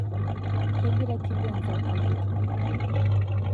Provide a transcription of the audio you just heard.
kegira kibonzo alotu